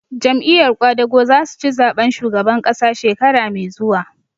Jam'iyar ƙwadago za su ci zaɓen shugaban ƙasa shekara mai zuwa